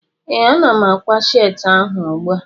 Ee, ana m ákwá sheetị ahụ ugbua